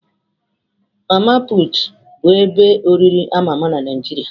Mama pụtụ bụ ebe oriri ama ama na Naijiria.